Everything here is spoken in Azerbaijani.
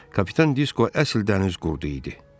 Kapitan Disko əsl dəniz qurudu idi.